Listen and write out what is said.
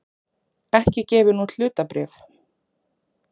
ekki gefin út hlutabréf.